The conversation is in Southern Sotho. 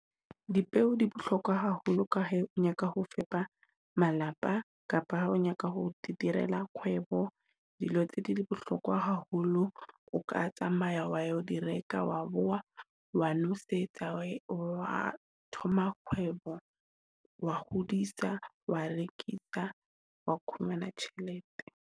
Dipeo di bohlokwa haholo ka he o nyaka ho fepa malapa kapa ha o nyaka ho direla kgwebo. Dilo tse di bohlokwa haholo. O ka tsamaya wa o di reka, wa bowa, wa nosetsa, wa thoma kgwebo wa hodisa, wa rekisa, wa khumana tjhelete.